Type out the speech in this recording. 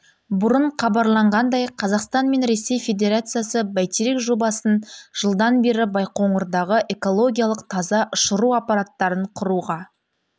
бұрын хабарланғандай қазақстан мен ресей федерациясы бәйтерек жобасын жылдан бері байқоңырдағы экологиялық таза ұшыру аппараттарын құруға